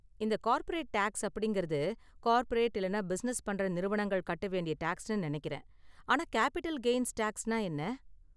இந்த corporate tax அப்படிங்கறது corporate இல்லனா பிசினஸ் பண்ற நிறுவனங்கள் கட்ட வேண்டிய டேக்ஸ்னு நினைக்கிறேன், ஆனா கேபிட்டல் கெய்ன்ஸ் டேக்ஸ்னா என்ன?